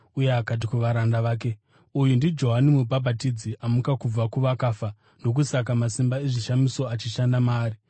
uye akati kuvaranda vake, “Uyu ndiJohani Mubhabhatidzi; amuka kubva kuvakafa! Ndokusaka masimba ezvishamiso achishanda maari.”